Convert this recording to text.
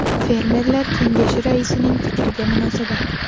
Fermerlar kengashi raisining fikriga munosabat.